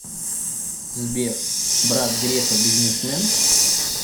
сбер брат грефа бизнесмен